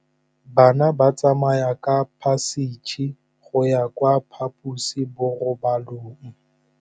Bana ba tsamaya ka phašitshe go ya kwa phaposiborobalong.